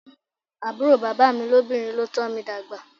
Àbúrò bàbá mi lóbìnrin ló tọ́ mi dàgbà.